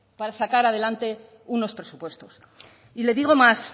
para sacar adelante unos presupuestos y le digo más